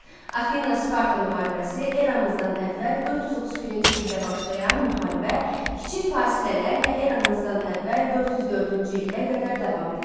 Afina-Sparta müharibəsi eramızdan əvvəl 431-ci ildə başlayan müharibə kiçik fasilələrlə eramızdan əvvəl 404-cü ilə qədər davam etdi.